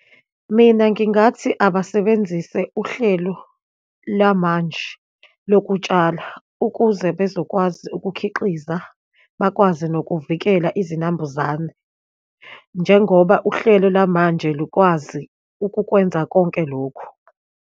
Mina, ngingathi abasebenzise uhlelo lamanje lokutshala, ukuze bezokwazi ukukhiqiza, bakwazi nokuvikela izinambuzane, njengoba uhlelo lamanje lukwazi ukukwenza konke lokhu.